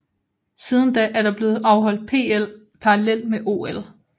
Siden da er der blevet afholdt PL parallelt med OL